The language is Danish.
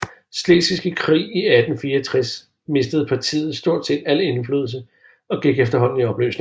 Slesvigske Krig i 1864 mistede partiet stort set al indflydelse og gik efterhånden i opløsning